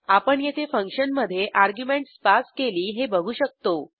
आपण येथे फंक्शनमधे अर्ग्युमेंटस पास केली हे बघू शकतो